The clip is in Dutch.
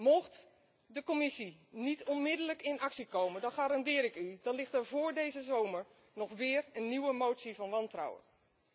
Mocht de Commissie niet onmiddellijk in actie komen, dan garandeer ik u dat er vóór deze zomer weer een nieuwe motie van wantrouwen komt.